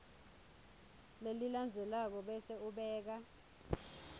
lelilandzelako bese ubeka